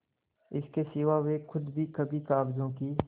इसके सिवा वे खुद भी कभी कागजों की